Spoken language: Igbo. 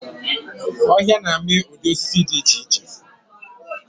Ọhịa na-amị ụdị osisi dị iche iche.